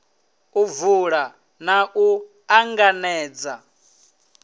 u vula na u ṱanganedza